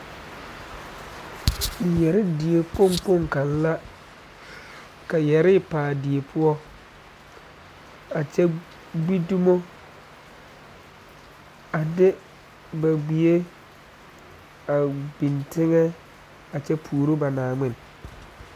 Yɛrɛɛ die kpoŋ kpoŋ kaŋa la ka yɛrɛɛ pa die poɔ a kyɛ gbi dumo a de ba gbɛe a biŋ teŋa a kyɛ puoro ba Naaŋmen